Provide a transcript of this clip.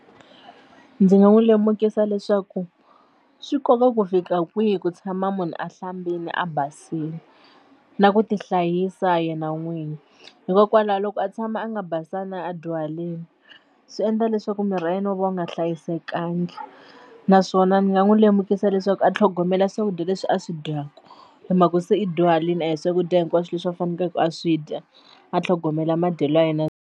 Ndzi nga n'wi lemukisa leswaku swi nkoka ku fika kwihi ku tshama munhu a hlambile a basile na ku tihlayisa yena n'wini hikokwalaho loko a tshama a nga basanga a dyuharile swi endla leswaku miri wa yena wo va u nga hlayisekanga naswona ni nga n'wi lemukisa leswaku a tlhogomela swakudya leswi a swi dyaka hi mhaku se i dyuharile a hi swakudya hinkwaswo leswi a faneleke a swi dya a tlhogomela madyelo ya yena.